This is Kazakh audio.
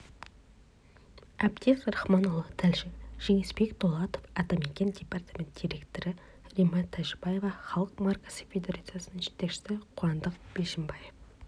әбдез рахманұлы тілші жеңісбек дулатов атамекен департамент директоры римма тәжібаева халық маркасы федерациясының жетекшісі қуандық бишімбаев